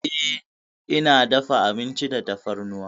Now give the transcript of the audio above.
Eh, ina dafa abinci da tafarnuwa.